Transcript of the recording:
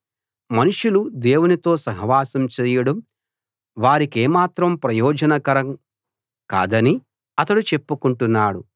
మనుషులు దేవునితో సహవాసం చేయడం వారికేమాత్రం ప్రయోజనకరం కాదని అతడు చెప్పుకుంటున్నాడు